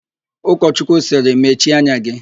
Ụkọchọchukwu sịrị, "mechie anya gị"!